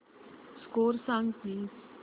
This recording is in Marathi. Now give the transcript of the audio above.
स्कोअर सांग प्लीज